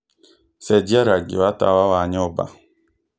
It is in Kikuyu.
cenjia rangi wa tawa wa nyũmba